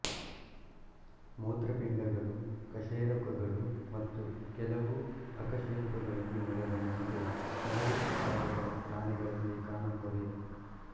ಮೂತ್ರಪಿಂಡಗಳು ಕಶೇರುಕಗಳು ಮತ್ತು ಕೆಲವು ಅಕಶೇರುಕಗಳನ್ನು ಒಳಗೊಂಡಂತೆ ಹಲವು ಪ್ರಕಾರಗಳ ಪ್ರಾಣಿಗಳಲ್ಲಿ ಕಾಣುತ್ತವೆ